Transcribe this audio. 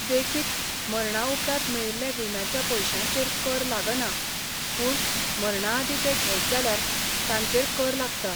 देखीक, मरणाउपरांत मेळिल्ल्या विम्याच्या पयशांचेर कर लागना पूण मरणाआदीं ते घेत जाल्यार तांचेर कर लागता.